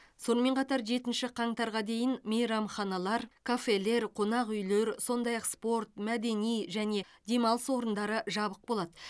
сонымен қатар жетінші қаңтарға дейін мейрамханалар кафелер қонақ үйлер сондай ақ спорт мәдени және демалыс орындары жабық болады